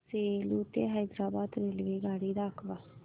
सेलू ते हैदराबाद रेल्वेगाडी दाखवा